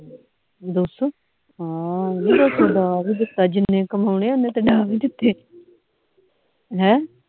ਦੋ ਸੌ ਹਾ ਦੋ ਸੌ ਡਾ ਵੀ ਦਿੱਤਾ ਜਿੰਨੇ ਕਮਾਉਣੀ ਉਹਨੇ ਤੇ ਡਾ ਵੀ ਦਿੱਤੇ ਹੈਂ